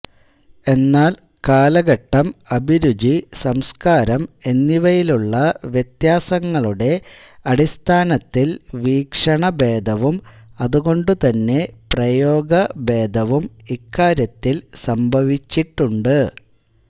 എന്നാൽ കാലഘട്ടം അഭിരുചി സംസ്കാരം എന്നിവയിലുള്ള വ്യത്യാസങ്ങളുടെ അടിസ്ഥാനത്തിൽ വീക്ഷണഭേദവും അതുകൊണ്ടുതന്നെ പ്രയോഗഭേദവും ഇക്കാര്യത്തിൽ സംഭവിച്ചിട്ടുണ്ട്